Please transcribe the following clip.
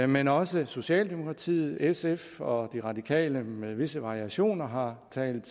men også socialdemokratiet sf og de radikale med visse variationer har talt